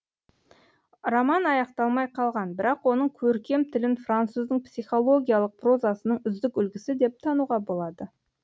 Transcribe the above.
роман аяқталмай қалған бірақ оның көркем тілін француздың психологиялық прозасының үздік үлгісі деп тануға болады